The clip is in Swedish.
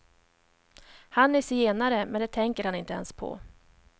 Han är zigenare, men det tänker han inte ens på.